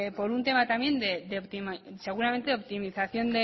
por un tema también seguramente de optimización